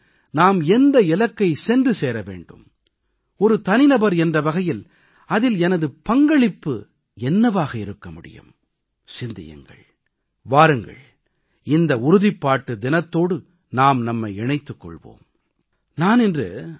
ஒரு நாடு என்ற வகையில் நாம் எந்த இலக்கைச் சென்று சேர வேண்டும் ஒரு தனிநபர் என்ற வகையில் அதில் எனது பங்களிப்பு என்னவாக இருக்க முடியும் வாருங்கள் இந்த உறுதிப்பாட்டு தினத்தோடு நாம் நம்மை இணைத்துக் கொள்வோம்